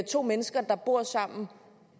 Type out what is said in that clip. to mennesker der bor sammen